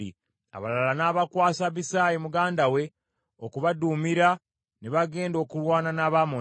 Abalala n’abakwasa Abisaayi muganda we okubaduumira, ne bagenda okulwana n’Abamoni.